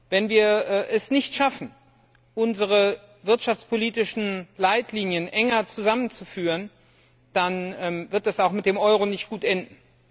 Wenn wir es nicht schaffen, unsere wirtschaftspolitischen Leitlinien enger zusammenzuführen, dann wird es auch mit dem Euro nicht gut enden.